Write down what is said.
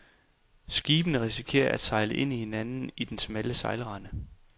Skibene risikerer at sejle ind i hinanden i den smalle sejlrende.